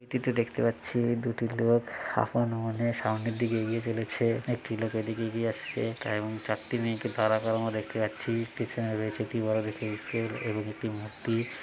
এটি তে দেখতে পাচ্ছি দুটি লোক আপন মনে সামনের দিকে এগিয়ে চলেছে একটি লোক এদিকে এগিয়ে আসছে এবং চারটি মেয়েকে দাঁড়া করানো দেখতে পাচ্ছি পিছনে রয়েছে একটি বড়ো দেখে স্কুল এবং একটি মূর্তি।